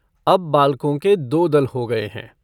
अब बालको के दो दल हो गये हैं।